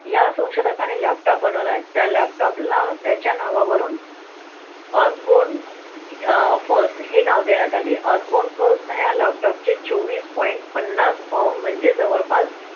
या संशोधकांनी laptop बनवला त्या laptop ला त्याच्या नावावरून Osborn अह first हे नाव देण्यात आले Osborn first या laptop चे चोवीस point पन्नास pound म्हणजे जवळपास